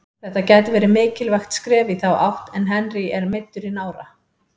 Þetta gæti verið mikilvægt skref í þá átt en Henry er meiddur í nára.